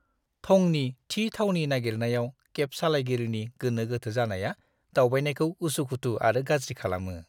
थंनि थि थावनि नागिरनायाव केब सालायगिरिनि गोनो-गोथो जानाया दावबायनायखौ उसुखुथु आरो गाज्रि खालामो।